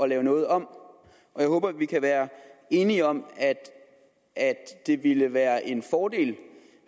lavet noget om jeg håber at vi kan være enige om at det ville være en fordel